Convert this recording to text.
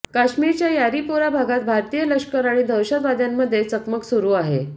काश्मीरच्या यारीपोरा भागात भारतीय लष्कर आणि दहशतवाद्यांमध्ये चकमक सुरु आहे